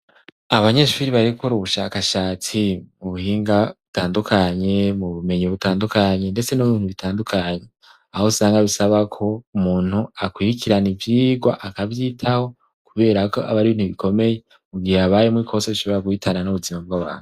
abanyeshuri barekura ubushakashatsi mu buhinga butandukanye mu bumenyi butandukanye ndetse nomu bintu bitandukanye aho usanga bisaba ko umuntu akwirikirana ibyigwa akabyitaho kubera ko aba ari bintu bikomeye ugihe abaye mu ikoso ishobora guhitana n'ubuzima bwa babe